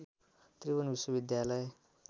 त्रिभुवन विश्वविद्यालय